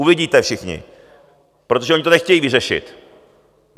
Uvidíte všichni, protože oni to nechtějí vyřešit.